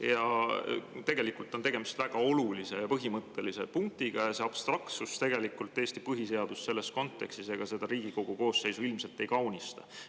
Ja tegelikult on tegemist väga olulise ja põhimõttelise punktiga ning abstraktsus Eesti põhiseadust selles kontekstis ja seda Riigikogu koosseisu ilmselt ei kaunista.